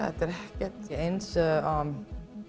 þetta er ekki eins